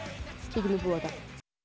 kíkjum í Búðardal